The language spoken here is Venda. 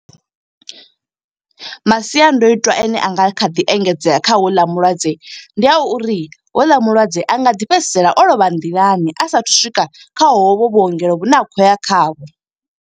Masiandoitwa ane anga kha ḓi engedzea kha houḽa mulwadze, ndi a uri houḽa mulwadze anga ḓi fhedzisela o lovha nḓilani. A sathu swika kha hovhu vhuongelo vhune a khou ya khavho.